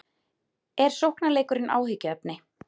Er sóknarleikurinn áhyggjuefni?